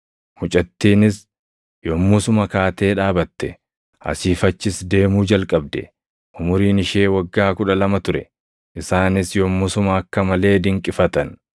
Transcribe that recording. Mucattiinis yommusuma kaatee dhaabatte; asii fi achis deemuu jalqabde. Umuriin ishee waggaa kudha lama ture. Isaanis yommusuma akka malee dinqifatan.